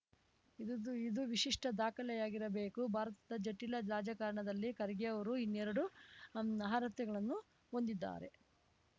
ಇದ್ದು ಇದು ವಿಶಿಷ್ಟದಾಖಲೆಯಾಗಿರಬೇಕು ಭಾರತದ ಜಟಿಲ ರಾಜಕಾರಣದಲ್ಲಿ ಖರ್ಗೆಯವರು ಇನ್ನೆರಡು ಅರ್ಹತೆಗಳನ್ನು ಹೊಂದಿದ್ದಾರೆ